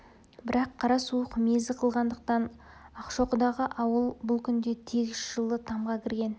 бірақ қара суық мезі қылғандықтан ақшоқыдағы ауыл бұл күнде тегіс жылы тамға кірген